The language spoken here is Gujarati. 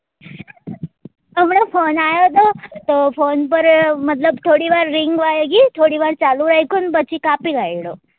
હમણાં phone આવ્યો હતો તો phone પર મતલબ થોડી વાર ring વાગી થોડી વાર ચાલુ રાખ્યો ન પછી કાપી વાળ્યો